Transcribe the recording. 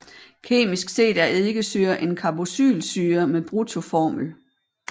Kemisk set er eddikesyre en carboxylsyre med bruttoformel